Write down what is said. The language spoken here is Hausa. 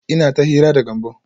Ina ta hira da Gambo